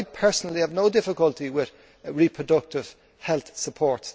I personally have no difficulty with reproductive health support